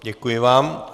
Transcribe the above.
Děkuji vám.